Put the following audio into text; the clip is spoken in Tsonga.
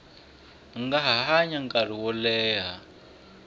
nga hanya nkarhi wo leha